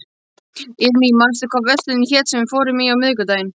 Irmý, manstu hvað verslunin hét sem við fórum í á miðvikudaginn?